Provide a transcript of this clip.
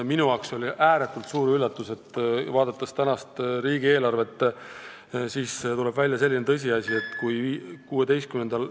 Minu ääretult suureks üllatuseks tuleb eelarvest välja selline tõsiasi, et kui ...